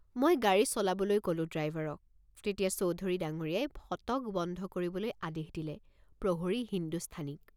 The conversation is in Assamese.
মই গাড়ী চলাবলৈ ক'লো ড্ৰাইভাৰক তেতিয়া চৌধুৰী ডাঙৰীয়াই ফটক বন্ধ কৰিবলৈ আদেশ দিলে প্ৰহৰী হিন্দুস্থানীক।